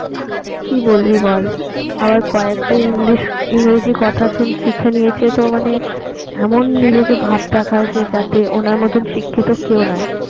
কি বলবি বল আবার কয়েকটা ইংলিশ ইংরেজি কথা শিখে নিয়েছে তো মানে এমন নিজেকে ভাব দেখায় যে যাতে ওনার মতন শিক্ষিত আর কেউ নয়